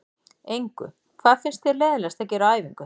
Engu Hvað finnst þér leiðinlegast að gera á æfingu?